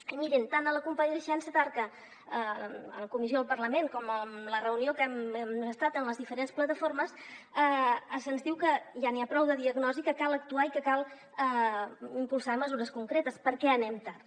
i mirin tant a la compareixença d’arca a la comissió al parlament com en la reunió en que hem estat amb les diferents plataformes se’ns diu que ja n’hi ha prou de diagnosi que cal actuar i que cal impulsar mesures concretes perquè anem tard